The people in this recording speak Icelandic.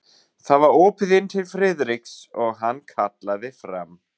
Það var opið inn til Friðriks og hann kallaði fram